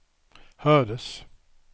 hördes